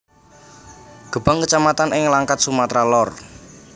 Gebang kecamatan ing Langkat Sumatera Lor